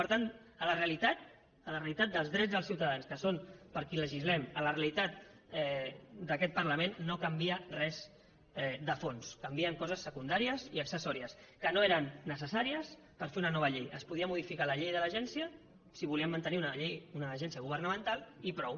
per tant a la realitat a la realitat dels drets dels ciutadans que són per qui legislem a la realitat d’aquest parlament no canvia res de fons canvien coses secundàries i accessòries que no eren necessàries per fer una nova llei es podia modificar la llei de l’agència si volíem mantenir en la llei una agència governamental i prou